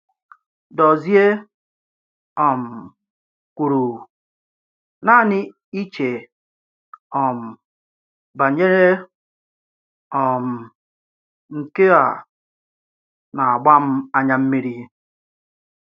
Dọ̀zie um kwùrù: “Naanị iché um banyerè um nke a na-agbà m ányà mmírì.